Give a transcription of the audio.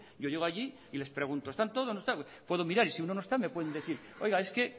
yo llego allí y les pregunto están todos no están puedo mirar y si uno no está me pueden decir oiga es que